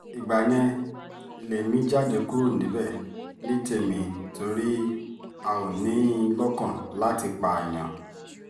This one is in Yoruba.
ìgbà yẹn lèmi jáde kúrò níbẹ̀ ní tèmi torí a ò ní in lọ́kàn láti pààyàn